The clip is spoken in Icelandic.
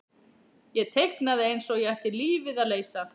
Ég teiknaði eins og ég ætti lífið að leysa.